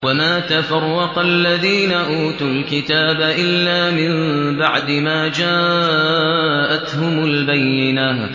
وَمَا تَفَرَّقَ الَّذِينَ أُوتُوا الْكِتَابَ إِلَّا مِن بَعْدِ مَا جَاءَتْهُمُ الْبَيِّنَةُ